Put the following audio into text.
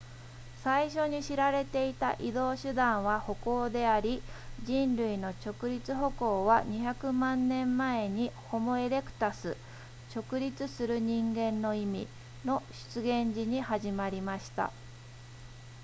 最初に知られていた移動手段は歩行であり人類の直立歩行は200万年前にホモエレクタス直立する人間の意味の出現時に始まりました